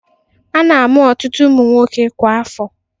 A na-amu ọtụtụ ụmụ nwoke kwa afọ.